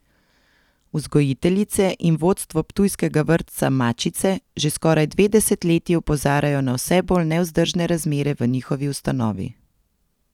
Vzgojiteljice in vodstvo ptujskega vrtca Mačice že skoraj dve desetletji opozarjajo na vse bolj nevzdržne razmere v njihovi ustanovi.